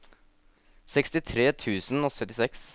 sekstitre tusen og syttiseks